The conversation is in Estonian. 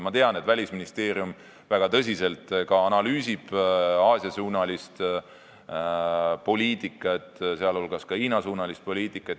Ma tean, et Välisministeerium analüüsib väga tõsiselt Aasia-suunalist poliitikat, sh Hiina-suunalist poliitikat.